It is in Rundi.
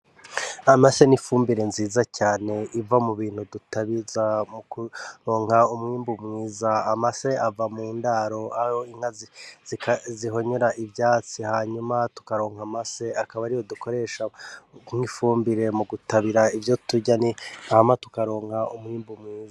Amase n'ifumbire nziza cane iva mubintu dutabiza mu kuronka umwimbu mwiza, amase ava mundaro aho inka zihonyora ivyatsi hanyuma tukaronka amase akaba ariyo dukoresha nk' ifumbire mu gutabira ivyo turya hama tukaronka umwwimbu mwiza.